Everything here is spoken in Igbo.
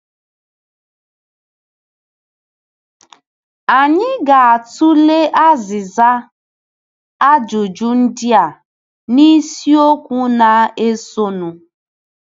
Anyị ga-atụle azịza ajụjụ ndị a n'isiokwu na-esonụ.